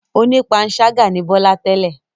Onípanṣágà ni Bọ́lá tẹ́lẹ̀.